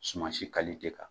Suman si kan.